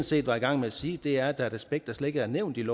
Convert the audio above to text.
set var i gang med at sige er at der er et aspekt der slet ikke er nævnt i